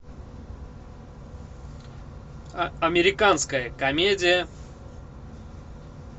американская комедия